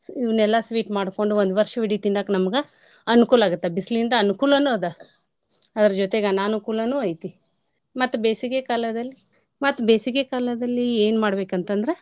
ಇವ್ನೆಲ್ಲಾ sweet ಮಾಡ್ಕೊಂಡು ಒಂದ್ ವರ್ಷವಿಡಿ ತಿನ್ನಾಕ್ ನಮ್ಗ ಅನುಕೂಲ್ ಆಗುತ್ತ ಬಿಸ್ಲಿಂದ ಅನ್ಕೂಲನು ಅದ. ಅದ್ರ ಜೊತೇಗ್ ಅನಾನುಕೂಲನು ಐತಿ. ಮತ್ತೆ ಬೇಸಿಗೆ ಕಾಲದಲ್ಲಿ ಮತ್ತೆ ಬೇಸಿಗೆ ಕಾಲದಲ್ಲಿ ಏನ್ ಮಾಡ್ಬೇಕಂತಂದ್ರ.